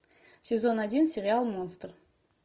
сезон один сериал монстр